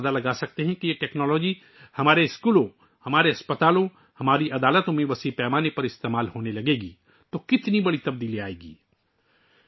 آپ تصور کرسکتے ہیں کہ جب یہ ٹیکنالوجی ہمارے اسکولوں، اسپتالوں، ہماری عدالتوں میں بڑے پیمانے پر استعمال ہونے لگے گی تو کتنی بڑی تبدیلی آجائے گی